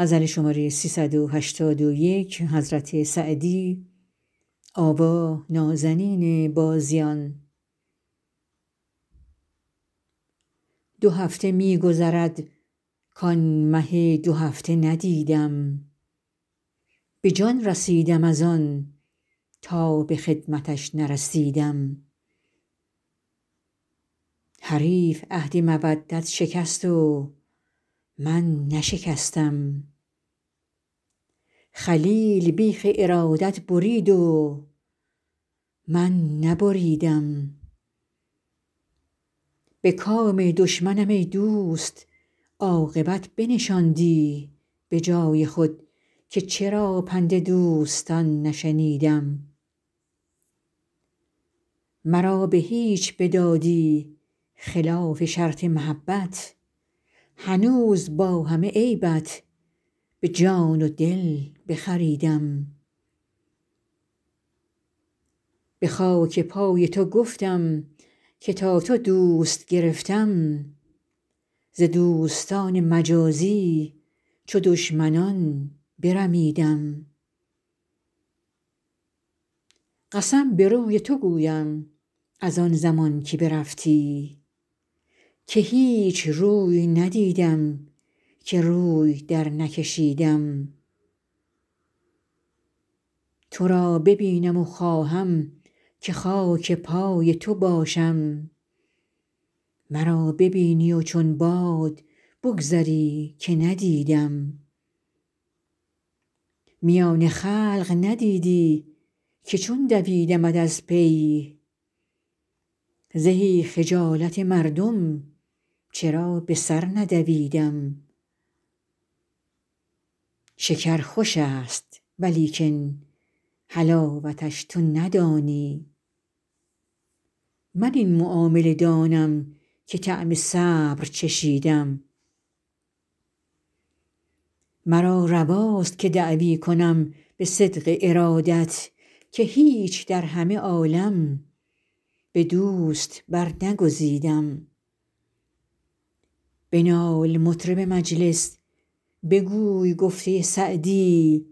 دو هفته می گذرد کآن مه دوهفته ندیدم به جان رسیدم از آن تا به خدمتش نرسیدم حریف عهد مودت شکست و من نشکستم خلیل بیخ ارادت برید و من نبریدم به کام دشمنم ای دوست عاقبت بنشاندی به جای خود که چرا پند دوستان نشنیدم مرا به هیچ بدادی خلاف شرط محبت هنوز با همه عیبت به جان و دل بخریدم به خاک پای تو گفتم که تا تو دوست گرفتم ز دوستان مجازی چو دشمنان برمیدم قسم به روی تو گویم از آن زمان که برفتی که هیچ روی ندیدم که روی درنکشیدم تو را ببینم و خواهم که خاک پای تو باشم مرا ببینی و چون باد بگذری که ندیدم میان خلق ندیدی که چون دویدمت از پی زهی خجالت مردم چرا به سر ندویدم شکر خوش است ولیکن حلاوتش تو ندانی من این معامله دانم که طعم صبر چشیدم مرا رواست که دعوی کنم به صدق ارادت که هیچ در همه عالم به دوست برنگزیدم بنال مطرب مجلس بگوی گفته سعدی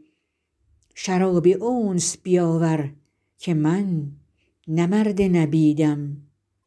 شراب انس بیاور که من نه مرد نبیدم